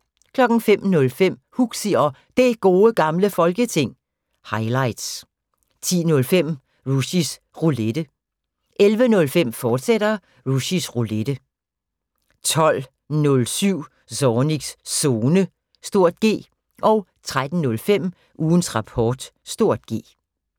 05:05: Huxi og Det Gode Gamle Folketing – highlights 10:05: Rushys Roulette 11:05: Rushys Roulette, fortsat 12:07: Zornigs Zone (G) 13:05: Ugens Rapport (G)